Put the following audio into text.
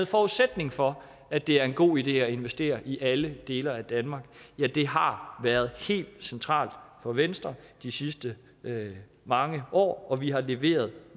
forudsætning for at det er en god idé at investere i alle dele af danmark ja det har været helt centralt for venstre de sidste mange år og vi har leveret